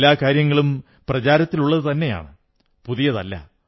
എല്ലാ കാര്യങ്ങളും പ്രചാരത്തിലുള്ളതുതന്നെയാണ് പുതിയതല്ല